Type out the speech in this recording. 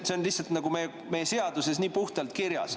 See on lihtsalt seaduses nii puhtalt kirjas.